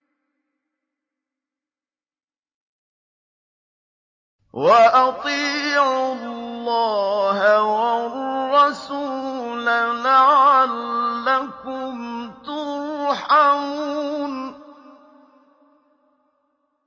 وَأَطِيعُوا اللَّهَ وَالرَّسُولَ لَعَلَّكُمْ تُرْحَمُونَ